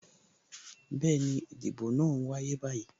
Bẹẹni, ìdìbò náà n wáyé báyìí